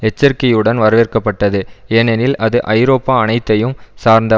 எச்சரிக்கையுடன் வரவேற்கப்பட்டது ஏனெனில் அது ஐரோப்பா அனைத்தையும் சார்ந்த